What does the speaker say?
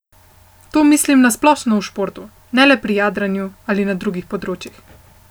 To mislim na splošno v športu, ne le pri jadranju, ali na drugih področjih.